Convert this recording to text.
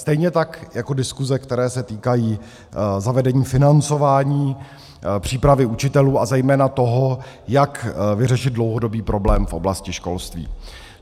Stejně tak jako diskuse, které se týkají zavedení financování přípravy učitelů a zejména toho, jak vyřešit dlouhodobý problém v oblasti školství.